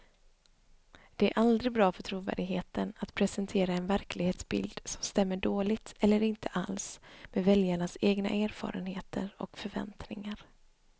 Det är aldrig bra för trovärdigheten att presentera en verklighetsbild som stämmer dåligt eller inte alls med väljarnas egna erfarenheter och förväntningar.